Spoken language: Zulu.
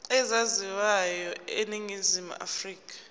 ezaziwayo eningizimu afrika